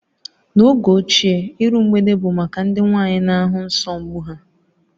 N'oge ochie, iru mgbede bụ maka ndị nwaanyị na ahụ nsọ mbụ ha